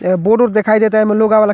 ए board उर्ड दिखाई देता। एमें लोग आवेला।